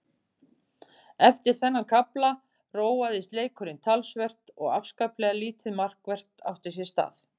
Eftir þennan kafla róaðist leikurinn talsvert og afskaplega lítið markvert átti sér stað.